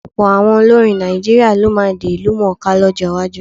Ọ̀pọ̀ àwọn olórin Nàìjíríà ló máa di ìlúmọ̀-ọ́n-ká lọ́jọ́ iwájú.